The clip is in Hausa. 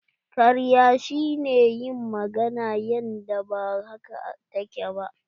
Karya shi ne yin magana yanda ba haka ta ke ba.